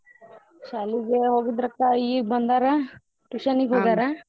ಶಾಲಿಗೆೇ ಹೋಗಿದ್ರಕ್ಕ ಈಗ್ಬಂದಾರ tuition ಗ್ .